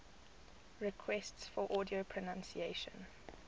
requests for audio pronunciation